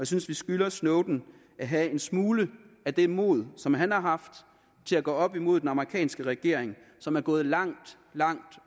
synes vi skylder snowden at have en smule af det mod som han har haft til at gå op imod den amerikanske regering som er gået langt langt